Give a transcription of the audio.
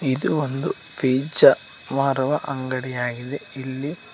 ಇದು ಒಂದು ಪೀಜ್ಜಾ ಮಾರುವ ಅಂಗಡಿಯಾಗಿದೆ ಇಲ್ಲಿ--